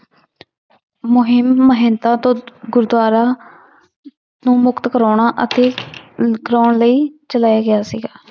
ਮੁਹਿੰਮ ਮਹੰਤਾਂ ਤੋਂ ਗੁਰਦੁਆਰਾ ਨੂੰ ਮੁਕਤ ਕਰਵਾਉਣਾ ਅਤੇ ਕਰਵਾਉਣ ਲਈ ਚਲਾਇਆ ਗਿਆ ਸੀਗਾ।